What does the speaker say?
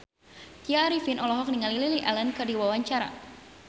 Tya Arifin olohok ningali Lily Allen keur diwawancara